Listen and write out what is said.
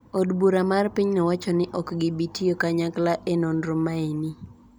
Od bura mar pinyno wacho ni ok gibi tiyo kanyakla e nonro maeni.